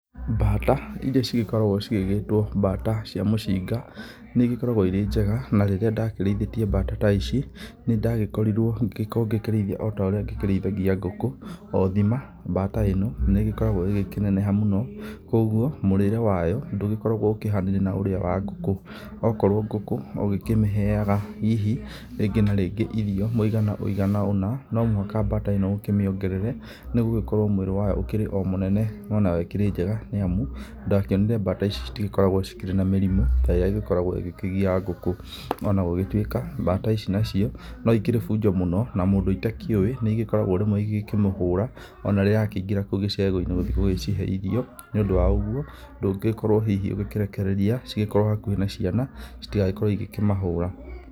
Mbata iria cigĩkoragwo igĩgĩtwo mbata cia mũcinga nĩ igĩkoragwo irĩ njega. na rĩrĩa ndakĩriithĩtie mbata ta ici nĩ ndagĩkorirwo ngĩkorwo ngĩkĩrĩithia oũrĩa ngĩkĩrĩithagia ngũkũ. Othima mabata ĩno nĩ ĩgĩkoragwo ĩgĩkĩneneha mũno koguo mũrĩre wayo ndũgĩkoragwo ũkĩhanaine na ũrĩa wa ngũkũ. Okorwo ngũkũ ũgĩkĩmĩhega hihi rĩngi na rĩngi irio mũigana wũigana ũna, no mũhaka mbata ĩno ũkĩmĩongerere nĩ gũgĩkorwo mwĩrĩ wayo ũgĩkoragwo mũnene. No nayo ikĩrĩ njega nĩ amu na ndakĩonire mbata ici citigĩkoragwo ikĩrĩ na mĩrimu ta ĩria ĩgĩkoragwo igĩkĩgia ngũkũ. Ona gũgĩtuĩka mbata ici nacio no ikĩrĩ bunjo mũno na mũndũ itakĩũĩ nĩ igĩkoragwo rĩmwe igĩkĩmũhũra ona rĩrĩa arakĩingĩra kũu gĩcegũ-inĩ gũthiĩ gũcihe iriuo. Nĩ ũndũ wa ũguo ndũngĩgĩkorwo hihi ũgĩkĩrekereria cigĩkorwo hakuhĩ na ciana citigagĩkorwo igĩkĩmahũra.